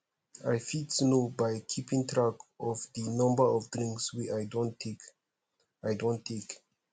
i fit know by keeping track of di number of drinks wey i don take i don take